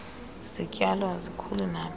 zityalo azikhuli naphi